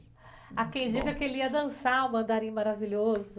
Há quem diga que ele ia dançar o Mandarim Maravilhoso.